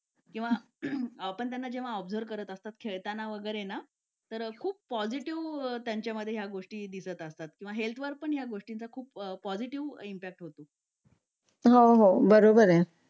आपण त्यांना जेव्हा ऑब्झर्व करत असतो खेळताना वगैरे तर ते खूप पॉझिटिव्ह त्यांच्यामध्ये ह्या गोष्टी दिसत असतात किंवा हेल्थ वर पण या गोष्टींचा खूप पॉझिटिव्ह इफेक्ट होतो